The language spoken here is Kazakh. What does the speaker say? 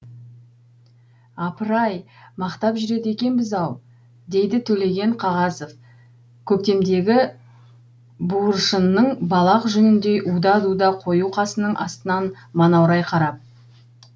апыр ай мақтап жүреді екенбіз ау дейді төлеген қағазов көктемедегі буыршынның балақ жүніндей уда дуда қою қасының астынан манаурай қарап